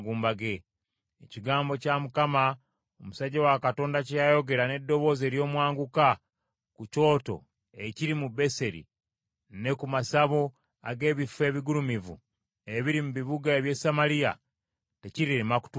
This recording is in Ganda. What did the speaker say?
Ekigambo kya Mukama , omusajja wa Katonda kye yayogera n’eddoboozi ery’omwanguka ku kyoto ekiri mu Beseri ne ku masabo ag’ebifo ebigulumivu ebiri mu bibuga eby’e Samaliya, tekirirema kutuukirira.”